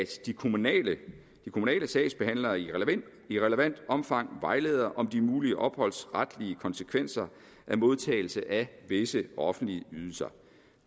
de kommunale sagsbehandlere i relevant omfang vejleder om de mulige opholdsretlige konsekvenser af modtagelse af visse offentlige ydelser